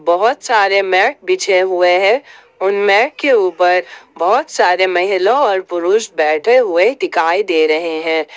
बहुत सारे मैट बिछे हुए हैं उन मैट के ऊपर बहुत सारे महिला और पुरुष बैठे हुए दिखाई दे रहे हैं।